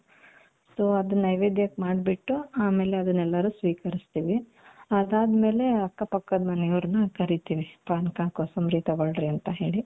so ಅದು ನೈವೇದ್ಯಕ್ಕೆ ಮಾಡ್ಬಿಟ್ಟು ಆಮೇಲೆ ಅದನ್ನ ಎಲ್ಲಾರು ಸ್ವೀಕರಿಸುತ್ತೀವಿ ಅದಾದಮೇಲೆ ಅಕ್ಕಪಕ್ಕದ ಮನೆಯವರನ್ನ ಕರೀತೀವಿ ಪಾನಕ ಕೋಸಂಬರಿ ತಗೊಳ್ಳಿ ಅಂತ ಹೇಳಿ .